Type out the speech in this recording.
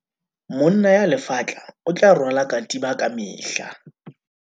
monna ya lefatla o rwala katiba ka mehla